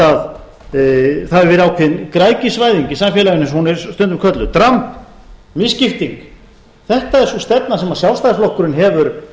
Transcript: það hefur verið ákveðin græðgisvæðing í samfélaginu eins og hún er stundum kölluð dramb misskipting þetta er sú stefna sem sjálfstæðisflokkurinn hefur